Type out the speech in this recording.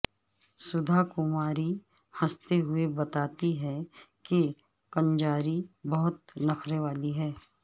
سدھا کماری ہنستے ہوئے بتاتی ہیں کہ کنجاری بہت نخرے والی ہے